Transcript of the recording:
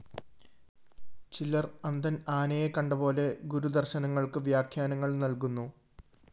ചിലര്‍ അന്ധന്‍ ആനയെ കണ്ടപോലെ ഗുരുദര്‍ശനങ്ങള്‍ക്ക് വ്യാഖ്യാനങ്ങള്‍ നല്‍കുന്നു